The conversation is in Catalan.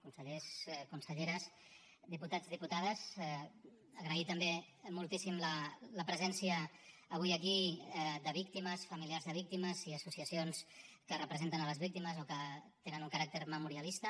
consellers conselleres diputats i diputades agrair també moltíssim la presència avui aquí de víctimes familiars de víctimes i associacions que representen les víctimes o que tenen un caràcter memorialista